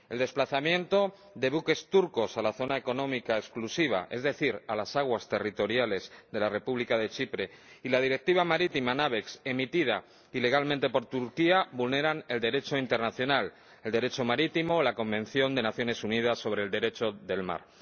El desplazamiento de buques turcos a la zona económica exclusiva —es decir, a las aguas territoriales de la República de Chipre— y la Directiva marítima NAVEX, emitida ilegalmente por Turquía, vulneran el Derecho internacional, el Derecho marítimo y la Convención de las Naciones Unidas sobre el Derecho del Mar.